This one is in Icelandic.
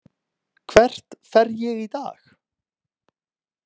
Hvert fer ég í dag?